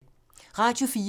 Radio 4